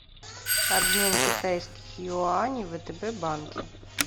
обмен китайских юаней в втб банке